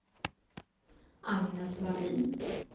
Agnes Vallin